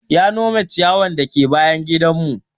Ya nome ciyawar dake bayan gidan mu